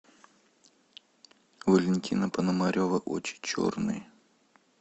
валентина пономарева очи черные